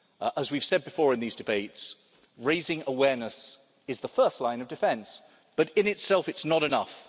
As we've said before in these debates, raising awareness is the first line of defence, but, in itself, it is not enough.